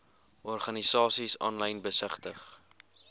organisasies aanlyn besigtig